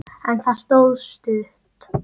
En það stóð stutt.